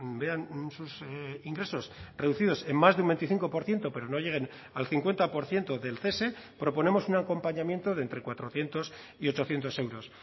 vean sus ingresos reducidos en más de un veinticinco por ciento pero no lleguen al cincuenta por ciento del cese proponemos un acompañamiento de entre cuatrocientos y ochocientos euros